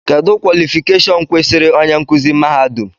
Kedụ kwọlịfịkashọn kwesịrị onye nkuzi mahadum?